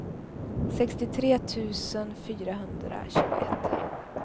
sextiotre tusen fyrahundratjugoett